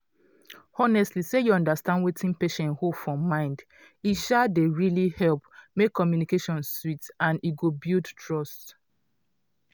honestly say you understand wetin patient hold for mind e um dey really help make communication sweet and e go build trust.